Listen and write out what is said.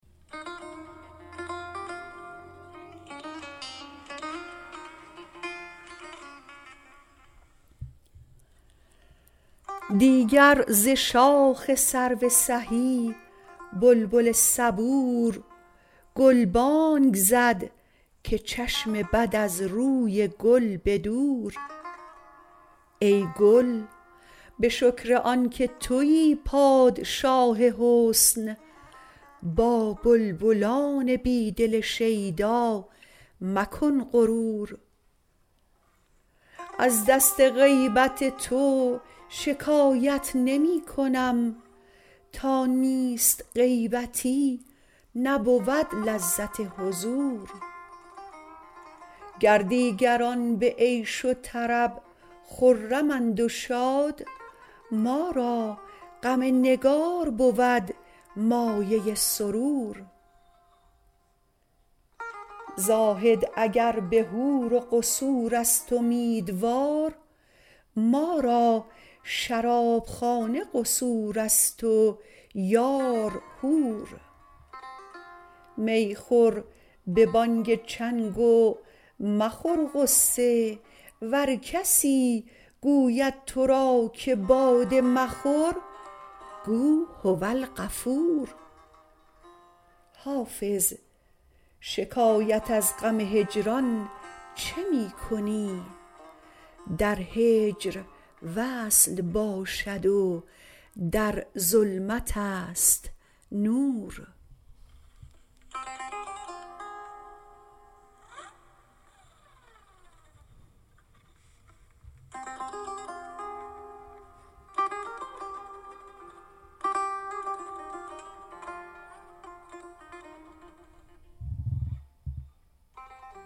دیگر ز شاخ سرو سهی بلبل صبور گلبانگ زد که چشم بد از روی گل به دور ای گل به شکر آن که تویی پادشاه حسن با بلبلان بی دل شیدا مکن غرور از دست غیبت تو شکایت نمی کنم تا نیست غیبتی نبود لذت حضور گر دیگران به عیش و طرب خرمند و شاد ما را غم نگار بود مایه سرور زاهد اگر به حور و قصور است امیدوار ما را شرابخانه قصور است و یار حور می خور به بانگ چنگ و مخور غصه ور کسی گوید تو را که باده مخور گو هوالغفور حافظ شکایت از غم هجران چه می کنی در هجر وصل باشد و در ظلمت است نور